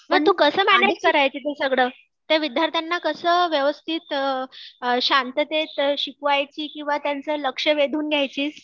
मग तू कसे मॅनेज करायचे सगळं? त्या विद्यार्थ्यांना कसं व्यवस्थित अ शांततेत शिकवायची किंवा त्यांचं लक्ष वेधून घ्यायची.